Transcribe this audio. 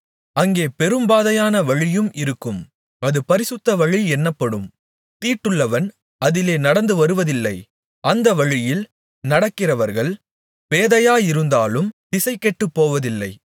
அங்கே பெரும்பாதையான வழியும் இருக்கும் அது பரிசுத்த வழி என்னப்படும் தீட்டுள்ளவன் அதிலே நடந்துவருவதில்லை அந்த வழியில் நடக்கிறவர்கள் பேதையராயிருந்தாலும் திசைகெட்டுப் போவதில்லை